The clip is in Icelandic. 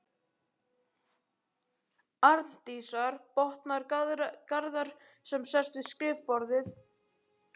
Arndísar, botnar Garðar sem sest við skrifborðið.